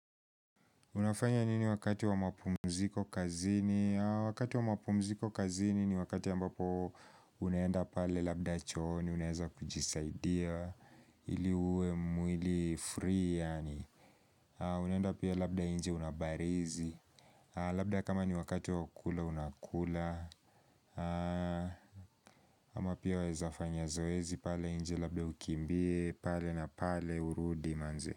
Unafanya nini wakati wa mapumziko kazini? Wakati wa mapumziko kazini ni wakati ambapo unaenda pale labda chooni, unaeza kujisaidia, ili uwe mwili free yaani. Unaenda pia labda nje unabarizi. Labda kama ni wakati wa kula unakula. Ama pia wawezafanya zoezi pale nje labda ukimbie pale na pale urudi manze.